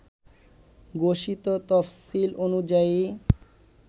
ঘোষিত তফসিল অনুযায়ী